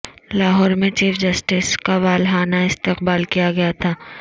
لاہور میں chief justice کا والہانہ استعقبال کیا گیا تھا